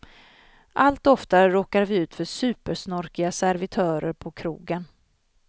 Allt oftare råkar vi ut för supersnorkiga servitörer på krogen.